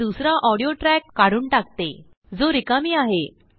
मी दुसराऑडियो ट्रैक काढून टाकते जो रिकामी आहे